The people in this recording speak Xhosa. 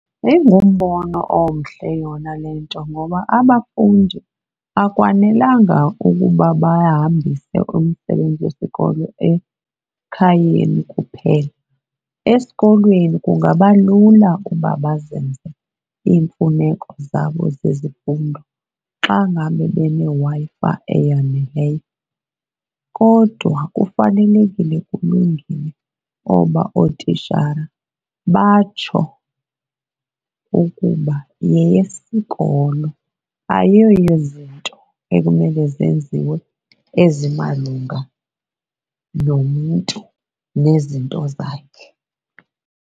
Ingumbono omhle yona le nto ngoba abafundi akwanelanga ukuba bayahambise umsebenzi wesikolo ekhayeni kuphela. Esikolweni kungaba lula uba bazenze iimfuneko zabo zezifundo xa ngabe beneWi-Fi eyaneleyo, kodwa kufanelekile kulungile oba ootitshala batsho ukuba yeyesikolo, ayiyo yezinto ekumele zenziwe ezimalunga nomntu nezinto zakhe.